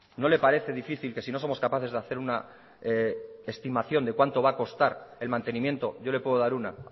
no le parece difícil que si no somos capaces de hacer una estimación de cuánto va a costar el mantenimiento yo le puedo dar una